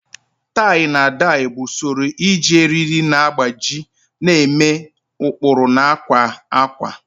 Tai na dai bụ usoro iji eriri na agbaji na-eme ụkpụrụ na akwa ákwà.